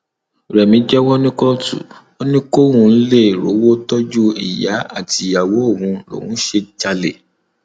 rẹmi jẹwọ ní kóòtù ó ní kóun lè rówó tọjú ìyá àtìyàwó òun lòún ṣe ń jalè